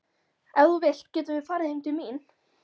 Ef þú vilt getum við farið heim til mín.